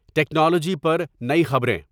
technology پر نئی خبریں